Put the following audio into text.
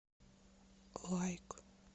лайк